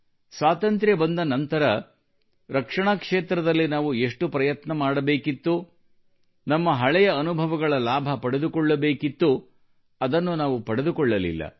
ಸ್ವಾತಂತ್ರ್ಯ ಬಂದ ನಂತರ ರಕ್ಷಣಾ ಕ್ಷೇತ್ರದಲ್ಲಿ ನಾವು ಎಷ್ಟು ಪ್ರಯತ್ನ ಮಾಡಬೇಕಿತ್ತೋ ನಮ್ಮ ಹಳೆಯ ಅನುಭವಗಳ ಲಾಭ ಪಡೆದುಕೊಳ್ಳಬೇಕಿತ್ತೋ ಅದನ್ನು ನಾವು ಪಡೆದುಕೊಳ್ಳಲಿಲ್ಲ